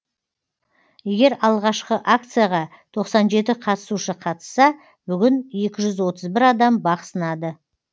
егер алғашқы акцияға тоқсан жеті қатысушы қатысса бүгін екі жүз отыз бір адам бақ сынады